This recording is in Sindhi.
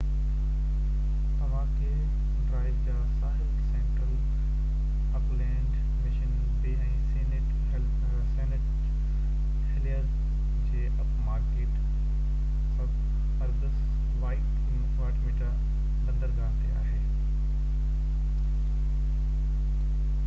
تماڪي ڊرائيو جا ساحل central Auckland Mission Bay ۽ Saint Heliers جي upmarket suburbs Waitemata بندرگاه تي آهي